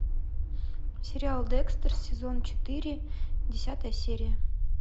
сериал декстер сезон четыре десятая серия